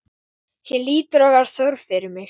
Hér hlýtur að vera þörf fyrir mig.